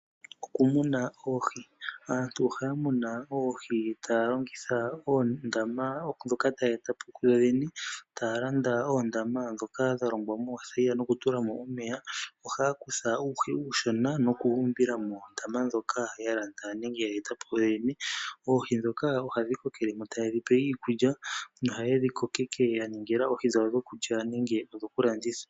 Okumuna oohi aantu ohaya munu oohi taya longitha oondama ndhoka yedhi eta po yoyene . Taya landa oondama ndhoka dha longwa moothayila nokutula mo omeya. Ohaya kutha uuhi uushona noku wu umbila mondama ndjoka yalandwa nenge yeyi etapo kuyoyene. Oohi ndhoka ohadhi kokele mo etaye dhipe iikulya nohaye dhikoke yaningila oohi dhawo dhokulya nenge dhokulanditha.